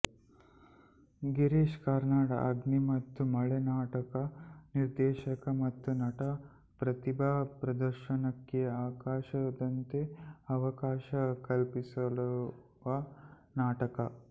ಗಿರೀಶ್ ಕಾರ್ನಾಡರ ಅಗ್ನಿ ಮತ್ತು ಮಳೆ ನಾಟಕ ನಿರ್ದೇಶಕ ಮತ್ತು ನಟರ ಪ್ರತಿಭಾ ಪ್ರದರ್ಶನಕ್ಕೆ ಆಕಾಶದಂತೆ ಅವಕಾಶ ಕಲ್ಪಿಸುವ ನಾಟಕ